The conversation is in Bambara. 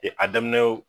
a daminɛw